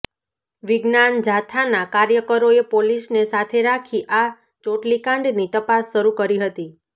વિજ્ઞાન જાથાના કાર્યકરોએ પોલીસને સાથે રાખી આ ચોટલીકાંડની તપાસ શરૂ કરી હતી